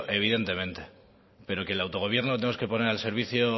evidentemente pero que el autogobierno tenemos que poner al servicio